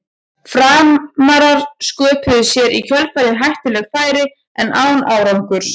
Framarar sköpuðu sér í kjölfarið hættuleg færi en án árangurs.